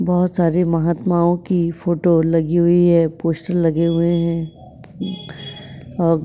बहुत सारे महात्माओ की फोटो लगी हुई है पोस्टर लगे हुए है और--